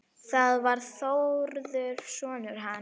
Það var Þórður sonur hans.